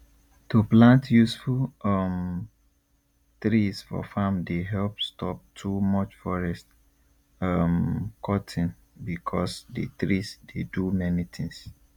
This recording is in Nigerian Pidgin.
to plant useful um trees for farm dey help stop too much forest um cutting because the trees dey do many things